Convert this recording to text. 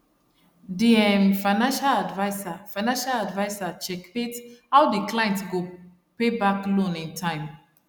the um finacial adviser finacial adviser checkmate how the client go payback loan in time